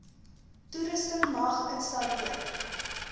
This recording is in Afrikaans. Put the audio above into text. toerusting mag installeer